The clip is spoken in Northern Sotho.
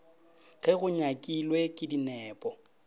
ge go nyakilwe ke dinepo